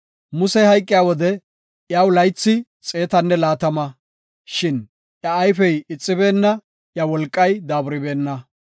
Musey hayqiya wode iyaw laythi xeetanne laatama; shin iya ayfey ixibeenna; iya wolqay daaburibeenna.